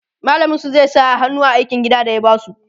mallamin su zai sa hannu a aikin gida da ya basu